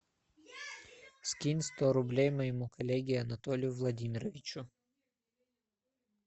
скинь сто рублей моему коллеге анатолию владимировичу